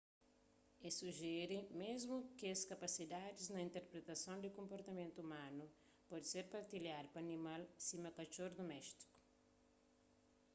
el sujere mésmu ki kes kapasidadis na interpretason di konportamentu umanu pode ser partilhadu pa animal sima katxor duméstiku